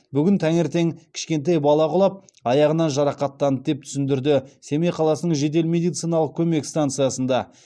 бүгін таңертең кішкентай бала құлап аяғынан жарақаттанды деп түсіндірді семей қаласының жедел медициналық көмек станциясында